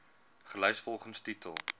gelys volgens titel